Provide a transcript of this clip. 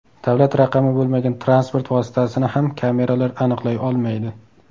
Davlat raqami bo‘lmagan transport vositasini ham kameralar aniqlay olmaydi.